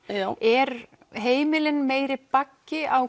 eru heimilin meiri baggi á